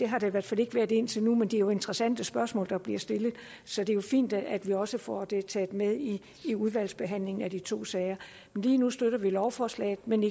har der i hvert fald ikke været indtil nu men det er jo interessante spørgsmål der bliver stillet så det er fint at vi også får det taget med i udvalgsbehandlingen af de to sager lige nu støtter vi lovforslaget men